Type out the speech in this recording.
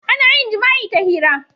Ana yin jima'i ta hira.